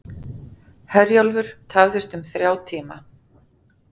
Herjólfur tafðist um þrjá tíma